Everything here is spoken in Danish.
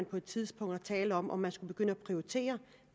på et tidspunkt tale om at man skulle begynde at prioritere